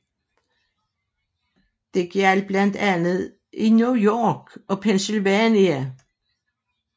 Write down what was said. Det gjaldt blandt andet i New York og Pennsylvania